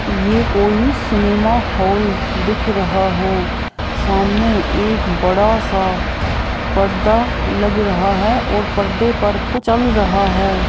ये कोई cinema hall दिख रहा है सामने एक बड़ा सा पर्दा लग रहा है और परदे पर कुछ चल रहा है।